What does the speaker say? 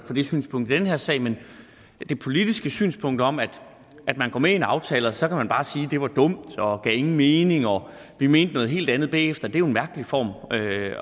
det synspunkt i den her sag men det politiske synspunkt om at at man går med i en aftale og så kan man bare sige bagefter at det var dumt og gav ingen mening og vi mente noget helt andet er jo en mærkelig form